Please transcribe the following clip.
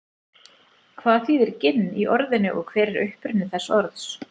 hvað þýðir ginn í orðinu og hver er uppruni þessa orðs